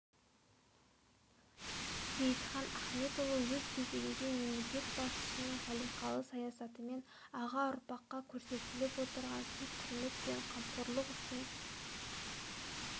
сейітхан ахметұлы өз кезегінде мемлекет басшысының салиқалы саясатымен аға ұрпаққа көрсетіліп отырған сый-құрмет пен қамқорлық үшін